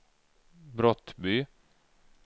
Brottby